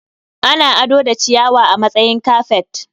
Ana ado da ciyawa a matsayin kafet.